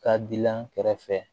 Ka dilan kɛrɛfɛ